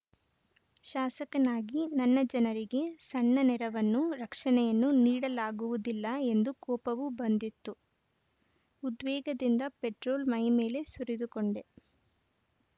ಶಾಸಕನಾಗಿ ನನ್ನ ಜನರಿಗೆ ಸಣ್ಣ ನೆರವನ್ನು ರಕ್ಷಣೆಯನ್ನು ನೀಡಲಾಗುವುದಿಲ್ಲ ಎಂದು ಕೋಪವೂ ಬಂದಿತು ಉದ್ವೇಗದಿಂದ ಪೆಟ್ರೋಲ್‌ ಮೈಮೇಲೆ ಸುರಿದುಕೊಂಡೆ